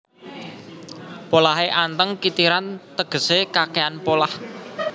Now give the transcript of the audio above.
Polahé anteng kitiran tegesé kakèhan polah